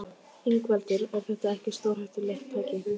Ingveldur: Er þetta ekki stórhættulegt tæki?